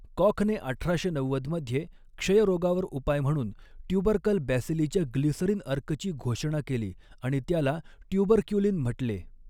कॉखने अठराशे नव्वद मध्ये क्षयरोगावर 'उपाय' म्हणून ट्यूबरकल बॅसिलीच्या ग्लिसरीन अर्कची घोषणा केली आणि त्याला 'ट्यूबरक्युलिन' म्हटले.